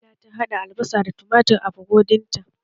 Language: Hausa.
Kamila ta haɗa albasa da tumatir a burodin ta